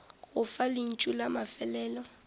go fa lentšu la mafelelo